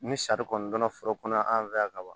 Ni sari kɔni donna foro kɔnɔ an fɛ yan ka ban